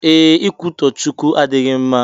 Ee, ikwutọ Chukwu adịghị mma